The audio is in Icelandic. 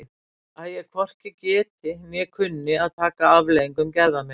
Að ég hvorki geti né kunni að taka afleiðingum gerða minna?